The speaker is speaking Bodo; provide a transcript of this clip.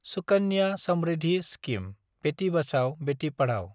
सुकानया समृद्धि स्किम – बेथि बाचाव बेथि पाधाव